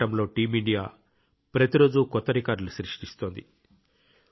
ఈ పోరాటంలో team India ప్రతిరోజూ కొత్త రికార్డులు సృష్టిస్తోంది